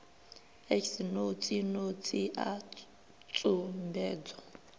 x notsi notsi a tsumbedzo